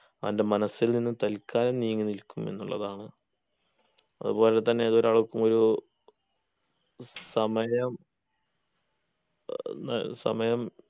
അവൻ്റെ മനസ്സിൽ നിന്ന് തൽക്കാലം നീങ്ങി നിൽക്കും എന്നുള്ളതാണ് അതുപോലെ തന്നെ ഏതൊരാൾക്കുമൊരു സമയം ഏർ സമയം